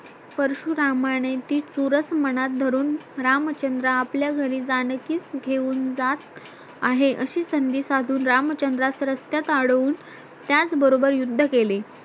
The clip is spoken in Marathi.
परशुरामाने ती सुरस मनात धरून रामचंद्र आपल्या घरी जानकीस घेऊन जात आहे अशी संधी साधून रामचंद्रास रस्त्यात आडवून त्याचबरोबर युद्ध केले